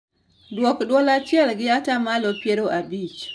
Duok dwol chiel gi atamalo piero abich